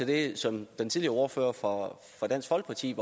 det som den tidligere ordfører for dansk folkeparti